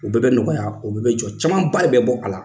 O bɛɛ bɛ nɔgɔya o bɛɛ jɔ caman ba de bɛ bɔ a la